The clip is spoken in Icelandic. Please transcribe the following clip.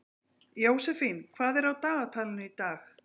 Jósefín, hvað er á dagatalinu í dag?